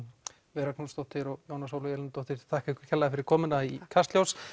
Vera Knútsdóttir og Jóna Sólveig Elínardóttir ég þakka ykkur kærlega fyrir komuna í Kastljós